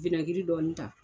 Winɛgiri dɔɔnin ta